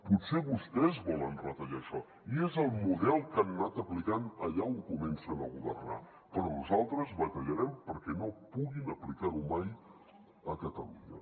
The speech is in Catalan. potser vostès volen retallar això i és el model que han anat aplicant allà on comencen a governar però nosaltres batallarem perquè no puguin aplicar ho mai a catalunya